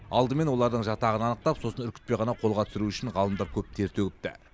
алдымен олардың жатағын анықтап сосын үркітпей ғана қолға түсіру үшін ғалымдар көп тер төгіпті